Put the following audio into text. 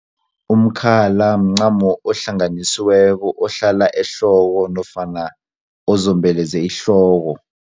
Umkhala mncamo ohlanganisiweko ohlala ehloko nofana ozombeleze ihloko.